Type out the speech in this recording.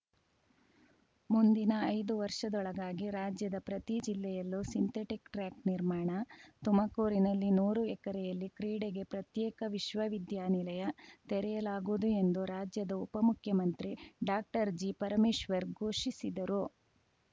ಮುಂದಿನ ಐದು ವರ್ಷದೊಳಗಾಗಿ ರಾಜ್ಯದ ಪ್ರತಿ ಜಿಲ್ಲೆಯಲ್ಲೂ ಸಿಂಥೆಟಿಕ್‌ ಟ್ರ್ಯಾಕ್‌ ನಿರ್ಮಾಣ ತುಮಕೂರಿನಲ್ಲಿ ನೂರು ಎಕರೆಯಲ್ಲಿ ಕ್ರೀಡೆಗೆ ಪ್ರತ್ಯೇಕ ವಿಶ್ವವಿದ್ಯಾನಿಲಯ ತೆರೆಯಲಾಗುವುದು ಎಂದು ರಾಜ್ಯದ ಉಪಮುಖ್ಯಮಂತ್ರಿ ಡಾಕ್ಟರ್ಜಿ ಪರಮೇಶ್ವರ್‌ ಘೋಷಿಸಿದರು